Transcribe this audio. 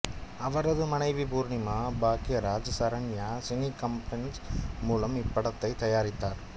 அவரது மனைவி Poornima Bhagyaraj Saranya cine combines மூலம் இப்படத்தை தயாரித்தார்